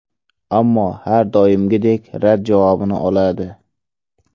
Ammo har doimgidek rad javobini oladi.